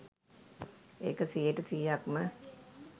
ඒක සීයට සීයක්ම